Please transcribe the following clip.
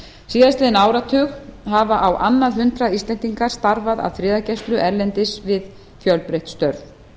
síðastliðinn áratug hafa á annað hundrað íslendinga starfað að friðargæslu erlendis við fjölbreytt störf